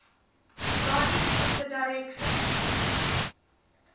guardians of the directions